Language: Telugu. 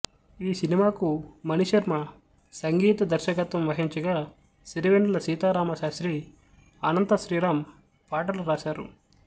ఈ సినిమాకు మణిశర్మ సంగీత దర్శకత్వం వహించగా సిరివెన్నెల సీతారామ శాస్త్రి అనంత శ్రీరాం పాటలు రాశారు